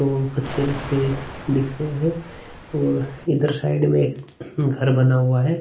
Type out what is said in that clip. और अच्छे रस्ते दिख रहे है और इधर साइड में एक घर बना हुआ है।